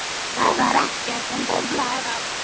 Það var ekkert sem truflaði þá.